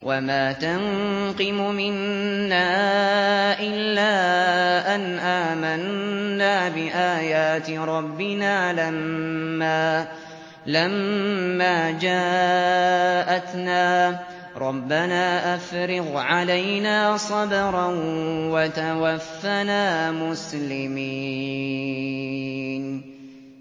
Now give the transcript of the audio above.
وَمَا تَنقِمُ مِنَّا إِلَّا أَنْ آمَنَّا بِآيَاتِ رَبِّنَا لَمَّا جَاءَتْنَا ۚ رَبَّنَا أَفْرِغْ عَلَيْنَا صَبْرًا وَتَوَفَّنَا مُسْلِمِينَ